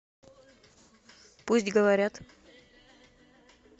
пусть говорят